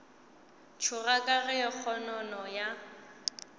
tšhoga ka ge kgonono ya